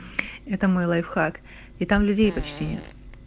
это мой лайфхак и там людей почти нет